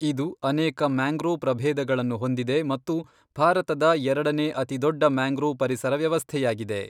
ಇದು ಅನೇಕ ಮ್ಯಾಂಗ್ರೋವ್ ಪ್ರಭೇದಗಳನ್ನು ಹೊಂದಿದೆ ಮತ್ತು ಭಾರತದ ಎರಡನೇ ಅತಿದೊಡ್ಡ ಮ್ಯಾಂಗ್ರೋವ್ ಪರಿಸರ ವ್ಯವಸ್ಥೆಯಾಗಿದೆ.